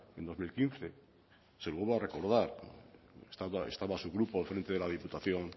en dos mil quince se lo vuelvo a recordar estaba su grupo al frente de la diputación